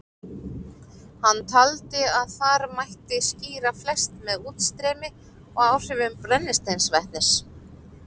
Hann taldi að þar mætti skýra flest með útstreymi og áhrifum brennisteinsvetnis.